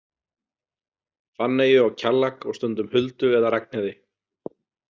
Fanneyju og Kjallak og stundum Huldu eða Ragnheiði.